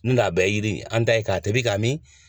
N'o tɛ a bɛɛ yiri ye, an ta ye k'a tobi ka min,